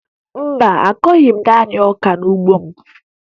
Mba, akụghị m naanị ọka n'ugbo m